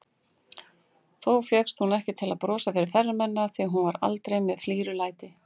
Þó fékkst hún ekki til að brosa fyrir ferðamennina, því hún var aldrei með flírulæti.